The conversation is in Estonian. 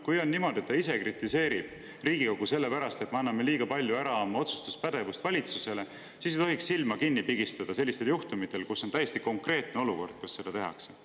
Kui on niimoodi, et ta kritiseerib Riigikogu selle pärast, et me anname liiga palju oma otsustuspädevust valitsusele ära, siis ei tohiks silma kinni pigistada, kui on tegu juhtumiga, kus täiesti konkreetselt seda tehakse.